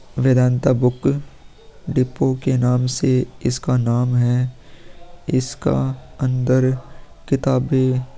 Vedanta book depot के नाम से इसका नाम है इसका अंदर किताब भी --